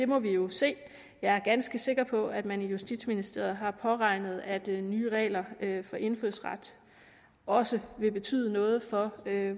må vi jo se jeg er ganske sikker på at man i justitsministeriet har påregnet at nye regler for indfødsret også vil betyde noget for